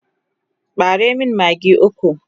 ɓare min maggi ukwu!